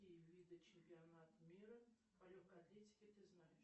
какие виды чемпионат мира по легкой атлетике ты знаешь